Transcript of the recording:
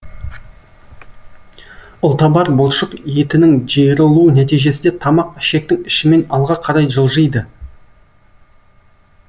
ұлтабар бұлшық етінің жиырылуы нәтижесінде тамақ ішектің ішімен алға қарай жылжиды